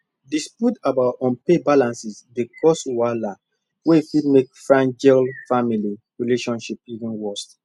disputes about unpaid balances dey cause wahala wey fit make fran gel family relationships even worse